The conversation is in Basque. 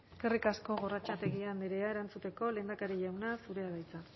eskerrik asko gorrotxategi andrea erantzuteko lehendakari jauna zurea da hitza